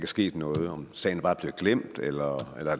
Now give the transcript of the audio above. sket noget om sagen bare er blevet glemt eller om